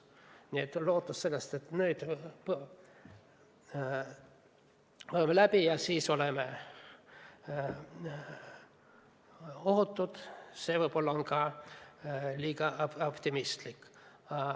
Nii et lootus, et nüüd põeme haiguse läbi ja siis on ohutu, on võib-olla samuti liiga optimistlik.